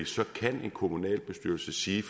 kan en kommunalbestyrelse sige